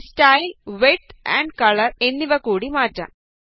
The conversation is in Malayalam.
ഞാന് സ്റ്റൈല് വിഡ്ത് ആംപ് കളര് എന്നിവ കൂടി മാറ്റാം